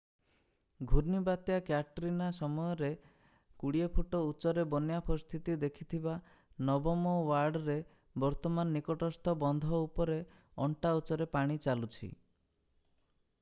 ଘୂର୍ଣ୍ଣିବାତ୍ୟା Katrina ସମୟରେ 20 foot ଉଚ୍ଚରେ ବନ୍ୟା ପରିସ୍ଥିତି ଦେଖିଥିବା ନବମ ୱାର୍ଡରେ ବର୍ତ୍ତମାନ ନିକଟସ୍ଥ ବନ୍ଧ ଉପରେ ଅଣ୍ଟା ଉଚ୍ଚରେ ପାଣି ଚାଲୁଛି